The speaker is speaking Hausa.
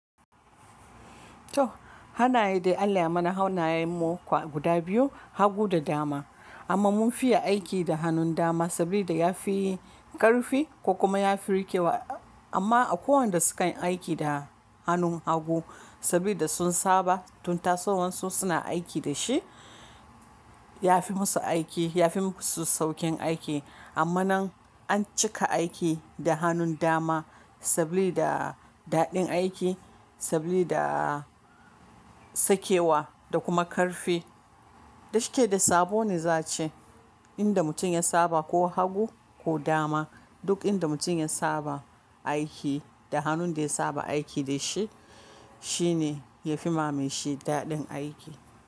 To, hanaye dai Allah yayi mana hannayen mu kuwa guda biyu, hagu da dama. Amma mun fiye aiki da hannun dama sabida ya fi ƙarfi ko kuma ya fi rikewa. Amma akwai wanda sukan aiki da hannun hagu saboda sun saba tun tasowansu suna aiki da shi. Ya fi musu aiki, ya fi musu saukin aiki. Amma nan an cika aiki da hannun dama saboda daɗin aiki, saboda sakewa da kuma ƙarfi. Dashike da sabone za'ace, inda mutum ya saba ko hagu ko dama, duk inda mutum ya saba aiki da hannun da ya saba aiki da shi, shi ne ya fi ma meshi daɗin aiki.